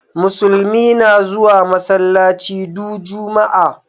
Musulmi na zuwa masallaci du Juma'a.